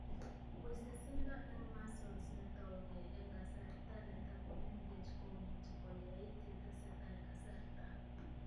Wisisindo eng' muscles netougei eng' kasarta netakomeng'ech komuchi koyait yetesetai kasarta